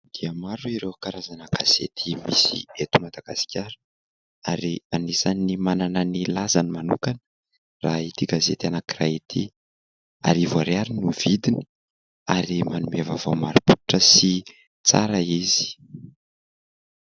Maro dia maro ireo karazana gazety misy eto Madagasikara ary anisany manana ny lazany manokana raha ity gazety anankiray ity, arivo ariary no vidiny ary manome vaovao marim-pototra sy tsara izy.